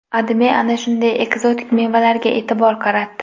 AdMe ana shunday ekzotik mevalarga e’tibor qaratdi.